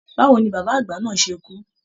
Báwo ní bàbá àgbà náà ṣe kú?